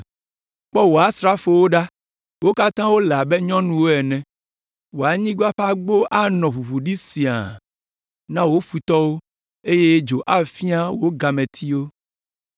Kpɔ wò asrafowo ɖa, wo katã wole abe nyɔnuwo ene. Wò anyigba ƒe agbo anɔ ʋuʋu ɖi siaa na wò futɔwo, eye dzo afia wò gametiwo.